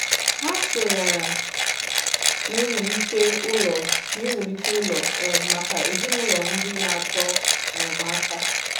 Hà sọnyèrè n’iwùlite ụlọ̀ n’iwùlite ụlọ̀ um maka ezinụlọ̀ ndị na-achọ enyemáka.